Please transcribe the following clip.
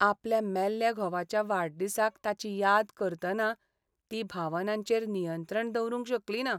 आपल्या मेल्ल्या घोवाच्या वाडदिसाक ताची याद करतना ती भावनांचेर नियंत्रण दवरूंक शकलीना.